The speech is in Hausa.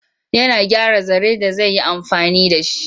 Yana gyara zare da zi yi amfani da shi.